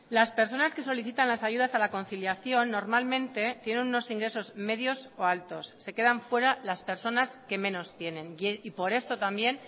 las personas que solicitan las ayudas a la conciliación normalmente tienen unos ingresos medios o altos se quedan fuera las personas que menos tienen y por esto también